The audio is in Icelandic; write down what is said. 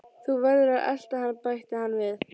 Þú verður að elta hann bætti hann við.